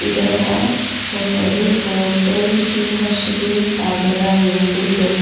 ಇದರ ಹೆಸರು ಹೋಟೇಲ್ ಶುಭಶ್ರೀ ಸಾಗರ ಎಂದು--